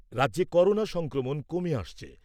রাজ্যে করোনা সংক্রমণ কমে আসছে।